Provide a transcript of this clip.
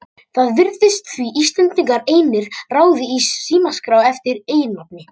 Það virðist því sem Íslendingar einir raði í símaskrá eftir eiginnafni.